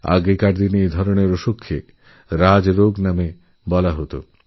আগেকার দিনে এইসমস্ত অসুখ রাজ রোগ নামে পরিচিত ছিল